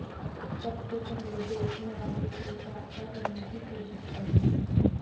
سب سے پہلے بیچنے والے سے رابطہ کرنے کی کوشش کریں